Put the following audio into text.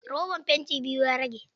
Roban fanti biyu ya rage.